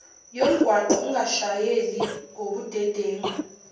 yomgwaqo ungashayeli ngobudedengu